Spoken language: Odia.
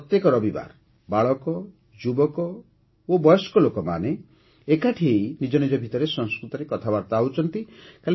ଏଠାରେ ସପ୍ତାହରେ ଗୋଟିଏ ଦିନ ପ୍ରତ୍ୟେକ ରବିବାର ବାଳକ ଯୁବକ ଓ ବୟସ୍କ ଲୋକମାନେ ଏକାଠି ହୋଇ ନିଜ ନିଜ ଭିତରେ ସଂସ୍କୃତରେ କଥାବାର୍ତ୍ତା ହେଉଛନ୍ତି